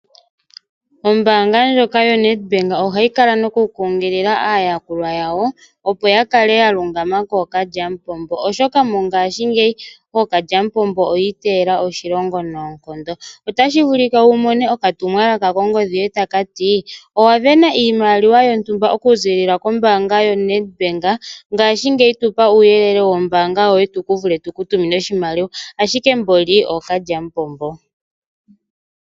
Ombaanga ndjoka yoNedbank ohayi kala nokukunkilila aayakulwa yawo, opo ya kale ya lungama kookalyamupombo, oshoka mongashingeyi ookalyamupombo oyi iteyela oshilongo noonkondo. Otashi vulika wu mone okatumwalaka kongodhi yoye kutya owa sindana iimaliwa yontumba okuziilila koNedbank ngaashingeyi tu pa uuyelele wombaanga yoye tu vule tu ku tumine oshimaliwa, ashike nani ookalyamupombo.